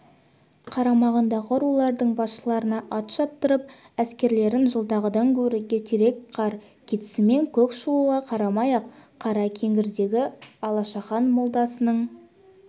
қарамағындағы рулардың басшыларына ат шаптырып әскерлерін жылдағыдан гөрі ертерек қар кетісімен көк шығуға қарамай-ақ қара кеңгірдегі алашахан моласының